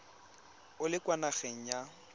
o le kwa nageng ya